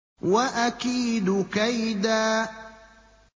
وَأَكِيدُ كَيْدًا